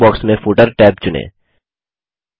dialogue box में footer tab चुनें